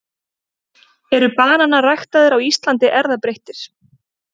eru bananar ræktaðir á íslandi erfðabreyttir